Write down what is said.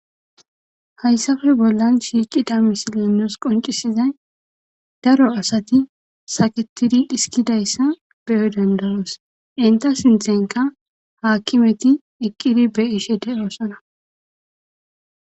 Hayissappe bolani deiza misileyi nusi qoncisizayi daro asati sakketidi dhisiki dizayisa beyo danidaosi enita sinththenikka akimeti eqidi betishe deosona